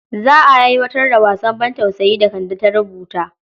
Za a aiwatar da wasan bantausayin da Kande ta rubuta.